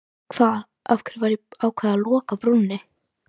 Hvað, af hverju var ákveðið að loka brúnni?